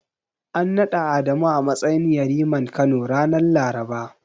An naɗa Adamu a matsayin Yariman Kano, ranar Laraba.